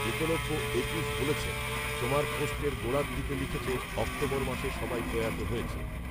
একলব্য একুশ বলেছেন, তোমার পোস্টের গোড়ার দিকে লিখেছ অক্টোবর মাসে সবাই প্রয়াত হয়েছে